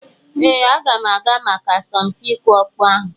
Ee, aga m aga maka asọmpi ịkụ ọkpọ ahụ.